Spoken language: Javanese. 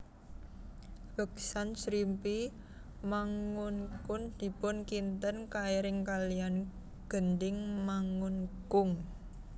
Beksan Srimpi Mangunkung dipun kinten kairing kalian gending Mangunkung